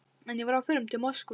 En ég var á förum til Moskvu.